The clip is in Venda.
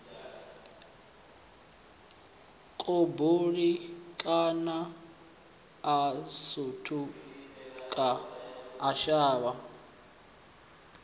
kubulinyana a sutuka a shavha